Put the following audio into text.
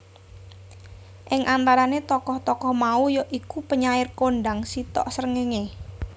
Ing antarane tokoh tokoh mau ya iku penyair kondang Sitok Srengenge